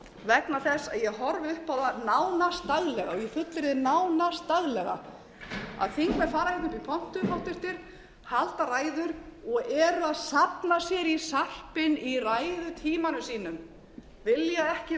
vegna þess að ég horfi upp á það nánast daglega og ég fullyrði nánast daglega að háttvirtir þingmenn fara upp í pontu halda ræður og eru að safna sér í sarpinn í ræðutímanum sínum vilja ekki